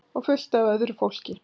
Og fullt af öðru fólki.